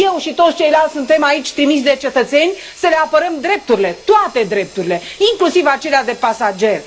Eu și toți ceilalți suntem trimiși aici de cetățeni să le apărăm drepturile, toate drepturile, inclusiv acelea de pasageri.